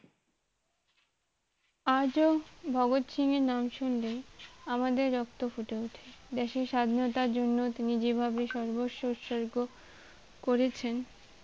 আজও ভগৎ সিং এর নাম শুনলে আমাদের রক্ত ফুটে উঠে দেশের স্বাধীনতার জন্য তিনি যে ভাবে সর্বস্ব উৎসর্গ করেছেন